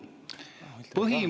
Aa, ultima ratio.